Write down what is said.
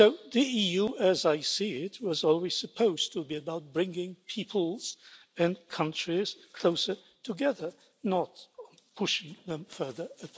The EU, as I see it, was always supposed to be about bringing peoples and countries closer together, not pushing them further apart.